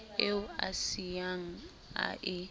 eo a siyang a e